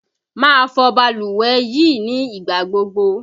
Máa fọ balùwẹ̀ yìí ní ìgbà gbogbo!